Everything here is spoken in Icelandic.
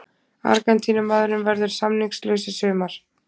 Argentínumaðurinn verður samningslaus í sumar.